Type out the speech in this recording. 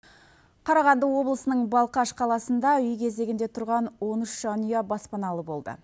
қарағанды облысының балқаш қаласында үй кезегінде тұрған он үш жанұя баспаналы болды